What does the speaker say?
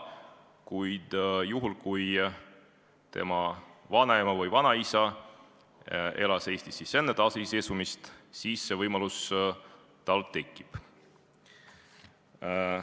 Kuid juhul, kui lapse vanaema või vanaisa elas Eestis enne taasiseseisvumist, siis see võimalus tal tekib.